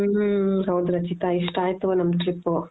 ಹ್ಮ್ಮ್ ಹ್ಮ್ಮ್ಮ್ ಹೌದು ರಚಿತ ಇಷ್ಟು ಆಯ್ತು ನಮ್ trip.